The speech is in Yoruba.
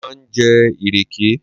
Mo máa ń jẹ ìrèké